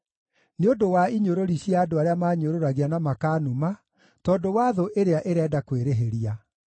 nĩ ũndũ wa inyũrũri cia andũ arĩa maanyũrũragia na makaanuma, tondũ wa thũ ĩrĩa ĩrenda kwĩrĩhĩria.